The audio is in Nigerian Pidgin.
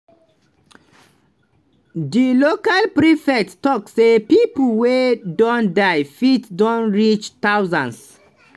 di local prefect tok say pipo wey don die fit don reach thousands.